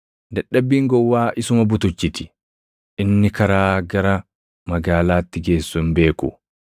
Dadhabbiin gowwaa isuma butuchiti; inni karaa gara magaalaatti geessu hin beeku.